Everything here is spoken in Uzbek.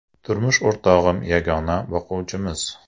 Turmush o‘rtog‘im yagona boquvchimiz.